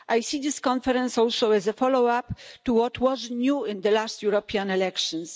I see this conference also as a follow-up to what was new in the last European elections.